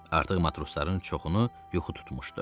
Artıq matrosların çoxunu yuxu tutmuşdu.